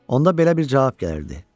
Onda belə bir cavab gəlirdi: